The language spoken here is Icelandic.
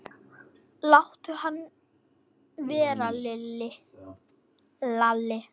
Láttu hann vera, Lalli!